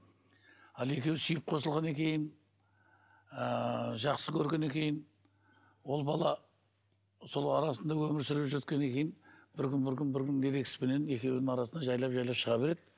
ал екеуі сүйіп қосылғаннан кейін ыыы жақсы көргеннен кейін ол бала сол арасында өмір сүріп жүргеннен кейін ерегіспенен екеуінің арасында жайлап жайлап шыға береді